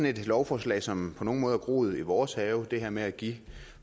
et lovforslag som på nogen måde har groet i vores have det her med at give